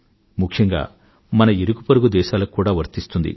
ముఖ్యంగా మన ఇరుగుపొరుగు దేశాలకు కూడా వర్తిస్తుంది